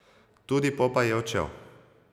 Tudi Popaj je odšel.